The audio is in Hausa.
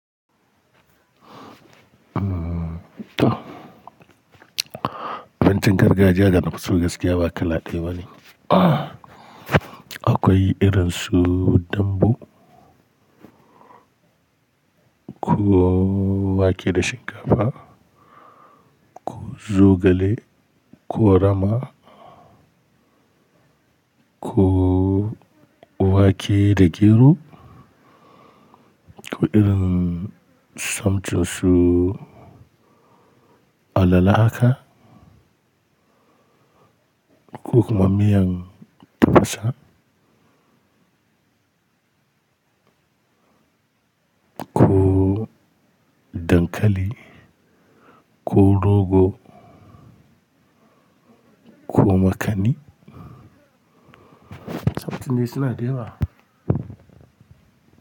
Abincin gargajiya da na fi so gaskiya ba kala kala ɗaya bane. Akwai irin su dambu. Ko wake da shinkafa, ko zogale, ko rama. Ko, ko wake da gero, ko irin something su. Alala haka, ko kuma miyan tafasa. Ko dankali, ko rogo, ko makani. Taf tin dai suna da yawa.